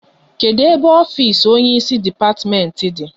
Kedụ ebe ofisi onye isi depatimenti dị?